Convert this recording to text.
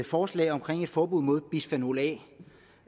forslag om et forbud mod bisfenol a